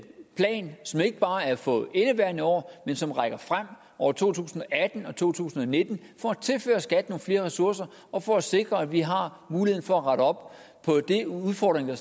plan som ikke bare er for indeværende år men som rækker frem over to tusind og atten og to tusind og nitten for at tilføre skat nogle flere ressourcer og for at sikre at vi har muligheden for at rette op på de udfordringer